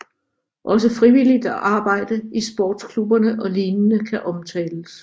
Også frivilligt arbejde i sportsklubber og lignende kan omtales